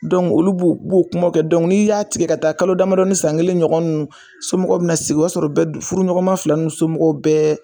Dɔnkuc olu b'u b'o kumaw kɛ dɔnku n'i y'a tigɛ ka taa kalo damadɔni san kelen ɲɔgɔn ninnu somɔgɔw bi na sigi o yɔrɔ sɔrɔ bɛ du furu ɲɔgɔnma fila somɔgɔw bɛɛ